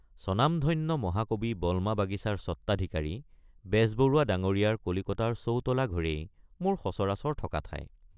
স্বনামধন্য মহাকবি বলমা বাগিছাৰ স্বত্বাধিকাৰী বেজবৰুৱা ডাঙৰীয়াৰ কলিকতাৰ চৌতলা ঘৰেই মোৰ সচৰাচৰ থকা ঠাই।